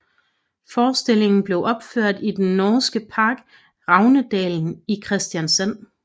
Forestillingen blev opført i den norske park Ravnedalen i Kristiansand